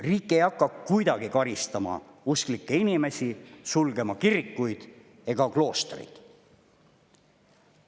Riik ei hakka kuidagi karistama usklikke inimesi, sulgema kirikuid ega kloostreid.